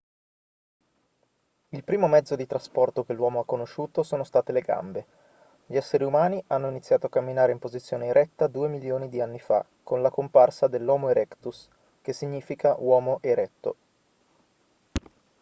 il primo mezzo di trasporto che l'uomo ha conosciuto sono state le gambe. gli esseri umani hanno iniziato a camminare in posizione eretta due milioni di anni fa con la comparsa dell'homo erectus che significa uomo eretto"